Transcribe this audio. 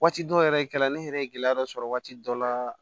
Waati dɔw yɛrɛ kɛra ne yɛrɛ ye gɛlɛya dɔ sɔrɔ waati dɔ la